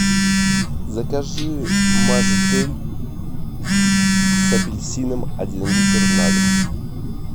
закажи мажитель с апельсином один литр на дом